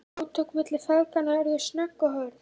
Átökin milli feðginanna urðu snögg og hörð.